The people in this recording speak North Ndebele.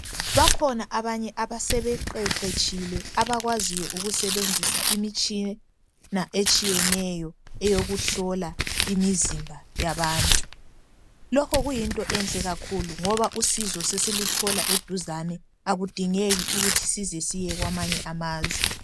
Bakhona abanye abasebe qeqetshile, abakwaziyo ukusebenzisa imitshina etshiyeneyo eyoku hlola imizimba yabantu. Lokhu kuyinto enhle kakhulu ngoba usiso sesiluthola eduzane, akudingeki ukuthi size siye kwamanye amazwe.